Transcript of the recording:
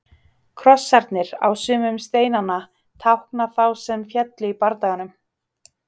Krossarnir á sumum steinanna tákna þá sem féllu í bardaganum.